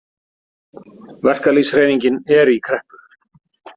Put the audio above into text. Verkalýðshreyfingin er í kreppu.